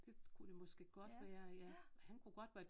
Det kunne det måske godt være ja han kunne godt være ja han kunne godt være